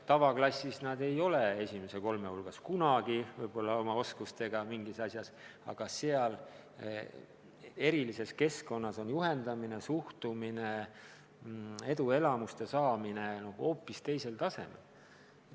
Tavaklassis nad ei ole esimese kolme hulgas oma oskustega võib-olla kunagi, aga erilises keskkonnas on juhendamine, suhtumine, eduelamuste saamine hoopis teisel tasemel.